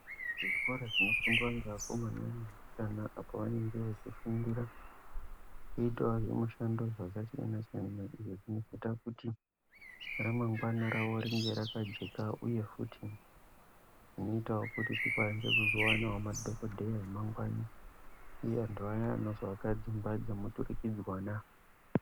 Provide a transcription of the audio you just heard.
Kuzvikora kunofundisa nevakomana kana vasikana pavanenge veifundira kuita zvimushando zvakasiyana siyana zvinoita kuti ramangwana ravo rive rakajeka uye futi zvinoita kuti rikwanise kuzopona madhokodheya amangwani ndivo vantu Vaya vakatingwadza muturikidzwana.